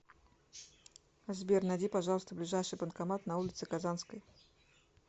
сбер найди пожалуйста ближайший банкомат на улице казанской